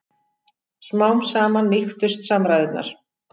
Smám saman mýktust samræðurnar.